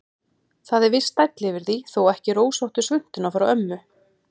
Það er viss stæll yfir því, þó ekki rósóttu svuntuna frá ömmu.